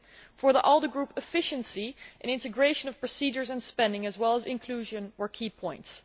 For the ALDE Group, efficiency and the integration of procedures and spending, as well as inclusion, were key points.